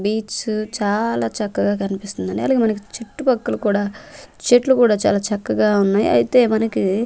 beach చాలా చక్కగ కన్పిస్తుందండి అలాగె మనకి చుట్టు పక్కల కూడ చెట్లు కూడా చాలా చక్కగా ఉన్నాయి అయితే మనకీ--